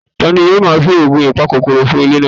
Tani yoo ma fi oogun ipakokoro fun ile naa?